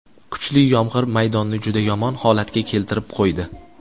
Kuchli yomg‘ir maydonni juda yomon holatga keltirib qo‘ydi.